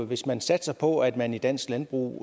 hvis man satsede på at man i dansk landbrug